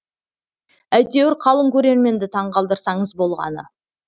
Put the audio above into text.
әйтеуір қалың көрерменді таңғалдырсаңыз болғаны